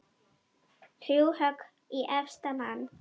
Þrjú högg í efsta mann.